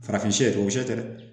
Farafin ye o sɛ tɛ dɛ